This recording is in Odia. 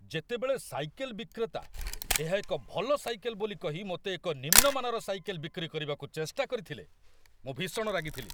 ଯେତେବେଳେ ସାଇକେଲ୍ ବିକ୍ରେତା ଏହା ଏକ ଭଲ ସାଇକେଲ୍ ବୋଲି କହି ମୋତେ ଏକ ନିମ୍ନମାନର ସାଇକେଲ୍ ବିକ୍ରି କରିବାକୁ ଚେଷ୍ଟା କରିଥିଲେ, ମୁଁ ଭୀଷଣ ରାଗିଥିଲି।